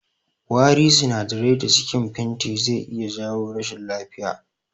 Wari sinadarai da cikin fenti zai iya jawo rashin lafiya